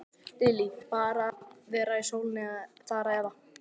Lillý: Bara að vera í sólinni þar eða?